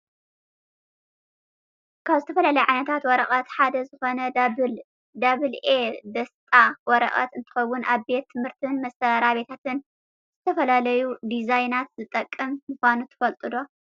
ካብ ዝተፈላለዩ ዓይነትታት ወረቀት ሓደ ዝኮነ ዳብል ኤ ደስጣ ወረቀት እንትከውን ኣብ ቤት ትምህርትን መስራቤታትን ንዝተፈላለዩ ዲዛይናትን ዝጠቅም ምኳኑ ትፈልጡ'ዶ?